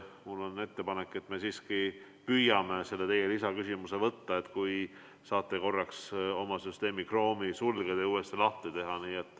Mul on ettepanek, et me siiski püüame selle teie lisaküsimuse võtta, kui te saate korraks oma arvutis Chrome'i sulgeda ja uuesti lahti teha.